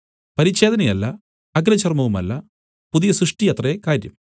പരിച്ഛേദനയല്ല അഗ്രചർമവുമല്ല പുതിയ സൃഷ്ടിയത്രേ കാര്യം